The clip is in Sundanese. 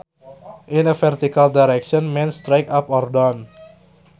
In a vertical direction means straight up or down